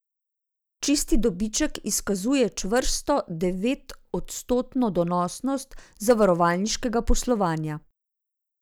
Čisti dobiček izkazuje čvrsto devetodstotno donosnost zavarovalniškega poslovanja.